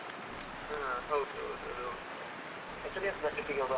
ಹಾ, ಹೌದೌದು ಅದು ಹೌದು, ಎಷ್ಟು ದಿವ್ಸದ್ದು trip ಗೆ ಹೋಗುವ.